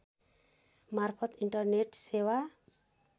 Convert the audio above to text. मार्फत इन्टरनेट सेवा